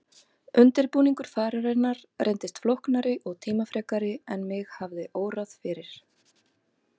Undirbúningur fararinnar reyndist flóknari og tímafrekari en mig hafði órað fyrir.